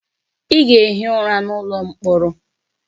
Ị ga-ehi ụra n'ụlọ mkpọrọ!